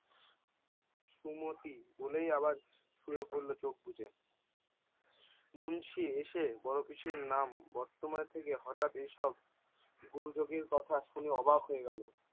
সুমতি বলেই আবার শুয়ে পড়লো চোখ বুঝে। মুন্সী এসে বড় পিসির নাম বর্তমান থেকে হটাৎ এইসব! গুরুদেবের কথা শুনে অবাক হয়ে গেলো।